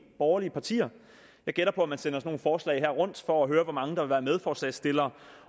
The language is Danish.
borgerlige partier jeg gætter på at man sender nogle forslag her rundt for at høre hvor mange der vil være medforslagsstillere